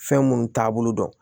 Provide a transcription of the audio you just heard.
Fɛn minnu taabolo dɔn